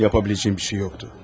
Yapa biləcəyim bir şey yoxdu.